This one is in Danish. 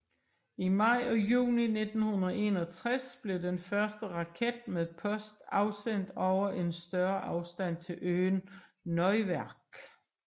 I maj og juni 1961 blev den første raket med post afsendt over en større afstand til øen Neuwerk